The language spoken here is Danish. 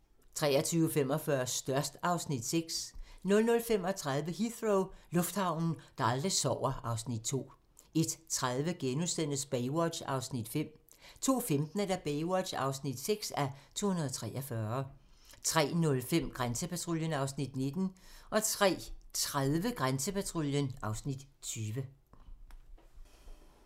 23:45: Størst (Afs. 6) 00:35: Heathrow - lufthavnen, der aldrig sover (Afs. 2) 01:30: Baywatch (5:243)* 02:15: Baywatch (6:243) 03:05: Grænsepatruljen (Afs. 19) 03:30: Grænsepatruljen (Afs. 20)